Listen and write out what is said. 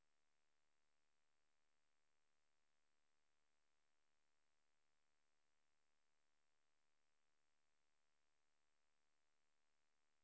Tester en to tre fire fem seks sju åtte